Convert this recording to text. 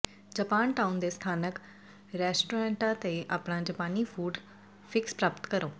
Japantown ਦੇ ਸਥਾਨਕ ਰੈਸਟੋਰਟਾਂ ਤੇ ਆਪਣਾ ਜਾਪਾਨੀ ਫੂਡ ਫਿਕਸ ਪ੍ਰਾਪਤ ਕਰੋ